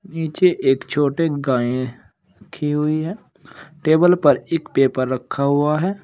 नीचे एक छोटे गाय रखी हुई है टेबल पर एक पेपर रखा हुआ है।